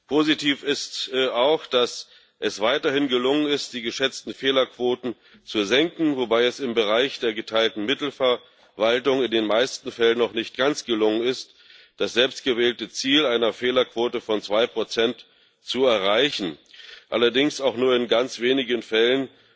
Positiv ist weiterhin auch, dass es gelungen ist, die geschätzten Fehlerquoten zu senken, wobei es im Bereich der geteilten Mittelverwaltung in den meisten Fällen noch nicht ganz gelungen ist, das selbst gewählte Ziel einer Fehlerquote von zwei Prozent zu erreichen. Allerdings wurden auch nur in ganz wenigen Fällen